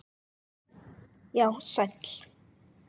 Já, sæll.